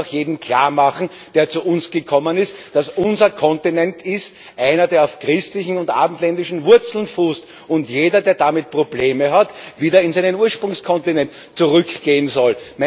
Und man muss auch jedem, der zu uns gekommen ist, klarmachen, dass unser Kontinent einer ist, der auf christlichen und abendländischen Wurzeln fußt, und dass jeder, der damit Probleme hat, wieder auf seinen Ursprungskontinent zurückgehen soll.